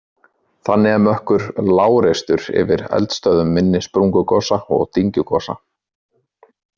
Þannig er mökkur lágreistur yfir eldstöðvum minni sprungugosa og dyngjugosa.